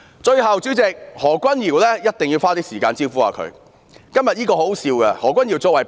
最後，主席，我一定要花一些時間"招呼"何君堯議員。